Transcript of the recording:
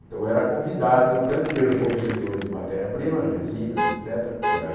Então eu era convidado, tanto pelos fornecedores de matéria-prima, resinas, et cétera, porque eu era...